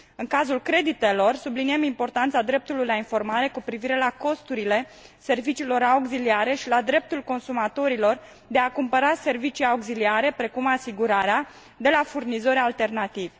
În cazul creditelor, subliniem importanța dreptului la informare cu privire la costurile serviciilor auxiliare și la dreptul consumatorilor de a cumpăra servicii auxiliare, precum asigurarea, de la furnizori alternativi.